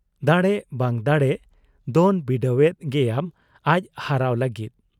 ᱫᱟᱲᱮᱜ ᱵᱟᱝ ᱫᱟᱲᱮᱜ ᱫᱚᱱ ᱵᱤᱰᱟᱹᱣᱮᱫ ᱜᱮᱭᱟᱢ ᱟᱡ ᱦᱟᱨᱟᱣ ᱞᱟᱹᱜᱤᱫ ᱾